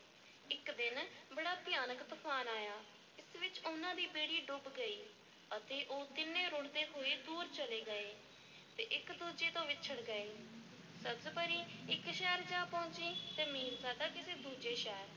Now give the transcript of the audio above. ਇੱਕ ਦਿਨ ਬੜਾ ਭਿਆਨਕ ਤੂਫ਼ਾਨ ਆਇਆ ਇਸ ਵਿੱਚ ਉਹਨਾਂ ਦੀ ਬੇੜੀ ਡੁੱਬ ਗਈ ਅਤੇ ਉਹ ਤਿੰਨੇ ਰੁੜ੍ਹਦੇ ਹੋਏ ਦੂਰ ਚਲੇ ਗਏ ਤੇ ਇੱਕ-ਦੂਜੇ ਤੋਂ ਵਿੱਛੜ ਗਏ, ਸਬਜ਼-ਪਰੀ ਇੱਕ ਸ਼ਹਿਰ ਜਾ ਪਹੁੰਚੀ ਅਤੇ ਮੀਰਜ਼ਾਦਾ ਕਿਸੇ ਦੂਜੇ ਸ਼ਹਿਰ।